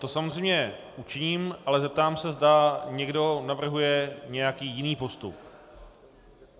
To samozřejmě učiním, ale zeptám se, zda někdo navrhuje nějaký jiný postup.